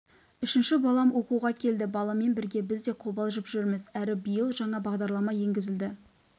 үшінші балам оқуға келді баламен бірге біз де қобалжып жүрміз әрі биыл жаңа бағдарлама енгізілді